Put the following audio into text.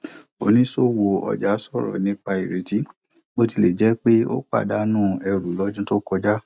oníṣòwò ọjà sọrọ nípa ireti bó tilẹ jẹ pé ó pàdánù ẹrù lọdún tó kọjá